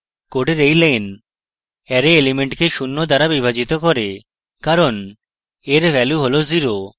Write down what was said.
code এই line array element code শূন্য দ্বারা বিভাজিত করে কারণ a এর value হল 0